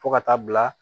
Fo ka taa bila